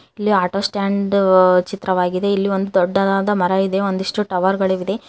ಇಲ್ಲಿ auto stand ಅ -ಅ ಚಿತ್ರವಾಗಿದೆ ಇಲ್ಲಿ ಒಂದು ದೊಡ್ಡದಾದ ಮರ ಇದೆ ಒಂದಿಷ್ಟು ಟವರ್ ಗಳಿದೆ.